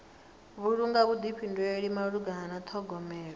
vhulunga vhuḓifhinduleli malugana na ṱhogomelo